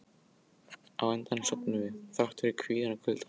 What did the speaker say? Á endanum sofnuðum við, þrátt fyrir kvíðann og kuldann.